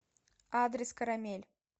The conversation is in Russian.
адрес карамель